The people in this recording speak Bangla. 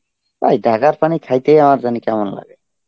ওই ঢাকার পানি খাইতেই আমার জানি কেমন লাগে.